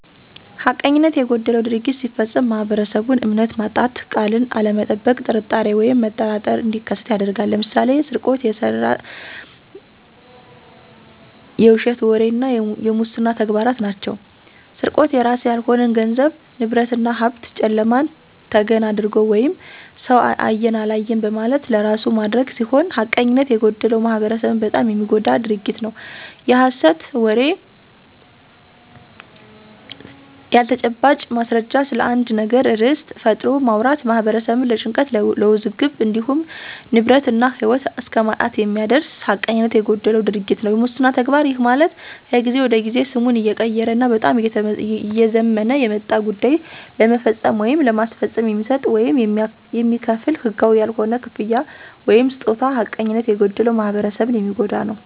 ሐቀኝነት የጎደለው ድርጊት ሲፈፀም ማህበረሰቡን እምነት ማጣት፣ ቃልን አለመጠበቅ ጥርጣሬ ወይም መጠራጠር እንዲከሠት ያደርጋል። ለምሳሌ፦ ስርቆት፣ የሠት ወሬ እና የሙስና ተግባራት ናቸው። -ስርቆት፦ የራስ ያልሆነን ገንዘብ፣ ንብረት እና ሀብት ጨለማን ተገን አድርጎ ወይም ሠው አየኝ አላየኝ በማለት ለራሱ ማድረግ ሲሆን ሐቀኝነት የጎደለው ማህበረሠብን በጣም የሚጎዳ ድርጊት ነው። -የሐሠት ወሬ፦ ያለተጨባጭ ማስረጃ ስለአንድ ነገር ርዕስ ፈጥሮ ማውራት ማህበረሠብን ለጭንቀት ለውዝግብ እንዲሁም ንብረት እና ህይወት እስከማሳጣት የሚያደርስ ሀቀኝነት የጎደለው ድርጊት ነው። -የሙስና ተግባር፦ ይህ ማለት ከጊዜ ወደ ጊዜ ስሙን እየቀየረ እና በጣም እየዘመነ የመጣ ጉዳይን ለመፈፀም ወይም ለማስፈፀም የሚሰጥ ወይም የሚከፈል ህጋዊ ያልሆነ ክፍያ ወይምስጦታ ሐቀኝነት የጎደለው ማህበረሰብን የሚጎዳ ነው።